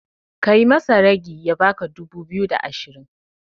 Kai masa ragi ya baka dubu biyu da ashirin